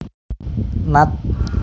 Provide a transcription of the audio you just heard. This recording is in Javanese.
Nat